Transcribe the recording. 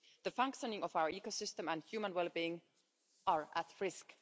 The functioning of our ecosystem and human well being are at risk.